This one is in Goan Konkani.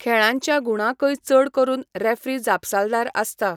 खेळांच्या गूणांकय चड करून रेफ्री जापसालदार आसता.